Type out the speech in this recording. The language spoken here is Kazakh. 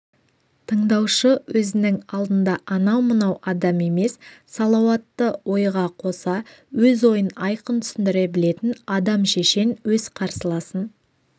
тыңдаушы өзінің алдында анау-мынау адам емес салауатты ойға қоса өз ойын айқын түсіндіре білетін адам шешен өз қарсыласын